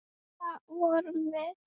Og það vorum við.